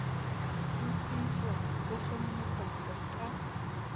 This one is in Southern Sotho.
ho sitswa ho hlohonolofatswa ka